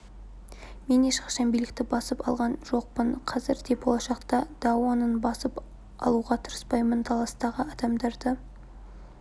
мен ешқашан билікті басып алған жоқпын қазір де болашақта даоның басып алуға тырыспаймын таластағы адамдарды